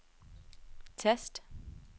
tast